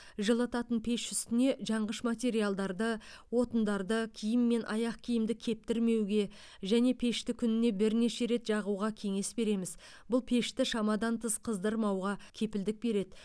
жылытатын пеш үстіне жанғыш материалдарды отындарды киім мен аяқ киімді кептірмеуге және пешті күніне бірнеше рет жағуға кеңес береміз бұл пешті шамадан тыс қыздырмауға кепілдік береді